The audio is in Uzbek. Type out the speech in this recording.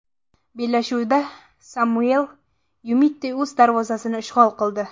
Bellashuvda Samuel Yumiti o‘z darvozasini ishg‘ol qildi.